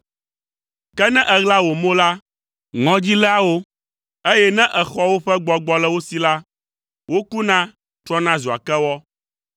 Ke ne èɣla wò mo la, ŋɔdzi léa wo, eye ne èxɔ woƒe gbɔgbɔ le wo si la, wokuna, trɔna zua kewɔ.